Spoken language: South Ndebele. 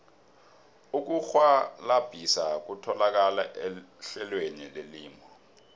ukurhwalabhisa kutholakala ehlelweni lelimi